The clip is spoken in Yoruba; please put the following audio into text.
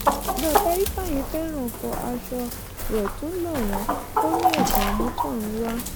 baba ifeanyi fẹ́ràn fọ aṣọ rẹ̀ tún lọ̀ wọ́n ó ní ẹ̀bùn àmútọ̀runwá.